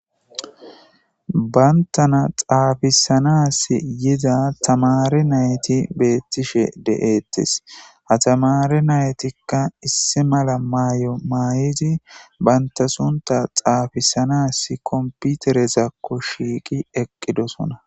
bayntana xaafisanas yiza tamari nayti beettishe de7ettes ha tamari naytikka issi mala maay7o mayidi banta sunta xaafisanas komputerezakko shiiqi eqqidosona